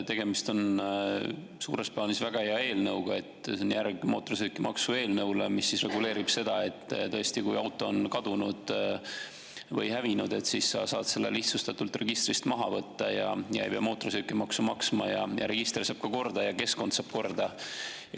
Tegemist on suures plaanis väga hea eelnõuga – see on järg mootorsõidukimaksu eelnõule –, mis reguleerib seda, et tõesti, kui auto on kadunud või hävinud, siis saab selle lihtsustatult registrist maha võtta ja ei pea mootorsõidukimaksu maksma ning register saab korda ja keskkond saab korda.